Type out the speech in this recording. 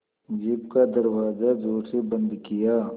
jeep का दरवाज़ा ज़ोर से बंद किया